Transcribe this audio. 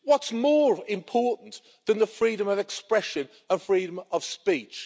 What's more important than the freedom of expression and freedom of speech?